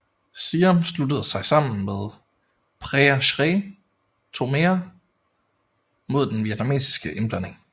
Siam sluttede sig sammen med Prea Srey Thomea mod den vietnamesiske indblanding